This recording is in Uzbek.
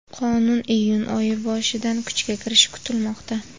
Qonun iyun oyi boshidan kuchga kirishi kutilmoqda.